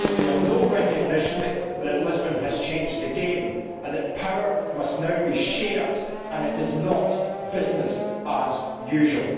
they have no recognition that Lisbon has changed the game, that power must now be shared and that it is not business as usual.